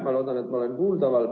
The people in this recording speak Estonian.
Ma loodan, et ma olen kuuldaval.